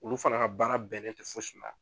Olu fana ka baara bɛnnen tɛ fosi ma.